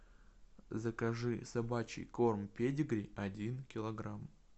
закажи собачий корм педигри один килограмм